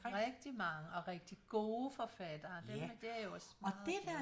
Rigtig mange og rigtig gode forfattere dem det er jeg også meget